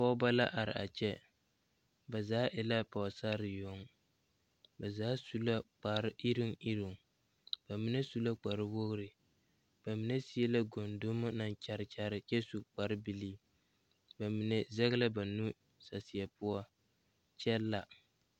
Pɔgeba la are a kyɛ ba zaa e la pɔgesare yoŋ ba zaa su la kpareiruŋ iruŋ ba mine su la kparewogri ba seɛ la gondomo naŋ kyare kyare kyɛ su kparebilii ba mine zɛge la ba nu saseɛ poɔ kyɛ la.